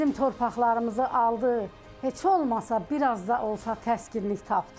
Bizim torpaqlarımızı aldı, heç olmasa bir az da olsa təskinlik tapdıq.